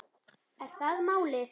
Er það málið?